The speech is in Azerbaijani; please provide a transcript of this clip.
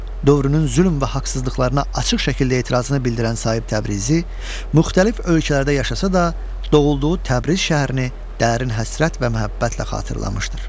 Dövrünün zülm və haqsızlıqlarına açıq şəkildə etirazını bildirən Sahib Təbrizi müxtəlif ölkələrdə yaşasa da, doğulduğu Təbriz şəhərini dərin həsrət və məhəbbətlə xatırlamışdır.